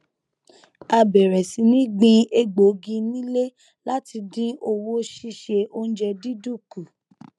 a bẹrẹ sí ní gbin egbògi nílé láti dín owó síse oúnjẹ dídùn kù